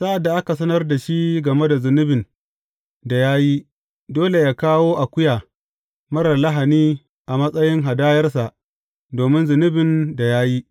Sa’ad da aka sanar da shi game da zunubin da ya yi, dole yă kawo akuya marar lahani a matsayin hadayarsa domin zunubin da ya yi.